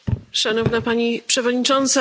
Szanowna Pani Przewodnicząca!